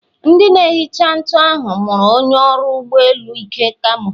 Ndị na-ehicha nkụ ahụ mụrụ onye ọrụ ụgbọ elu Ike kamo.